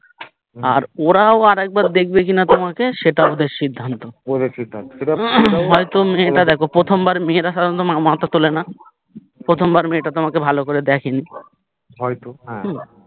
আর ওরাও আরেকবার দেখবেকিনা তোমাকে সেটা ওদের সির্ধান্ত সেটাও হয়তো মেয়েটা প্রথমবারে মেয়েরা সাধারণত মাথা তোলেনা প্রথমবার মেয়েটা তোমাকে ভালো করে দেখেনি হয়তো হ্যা